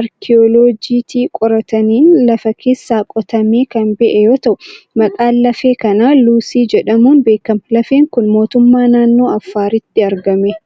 arkiyooloojiitii qorataniin lafa keessaa qotamee kan ba'e yoo ta'u, maqaan lafee kanaa Luusii jedhamuun beekama. Lafeen kun, mootummaa naannoo Affaaritti argame.